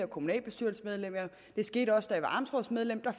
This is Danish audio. kommunalbestyrelsesmedlem det skete også da jeg var amtsrådsmedlem at